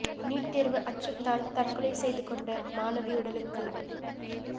NEET தேர்வு அச்சத்தால் தற்கொலை செய்த கொண்ட மாணவி உடலுக்கு